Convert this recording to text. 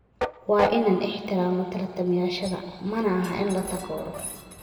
Waa inaan ixtiraamnaa tartamayaashayada, mana aha in la takooro."